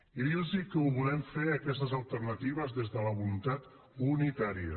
i dir los que les volem fer aquestes alternatives des de la voluntat unitària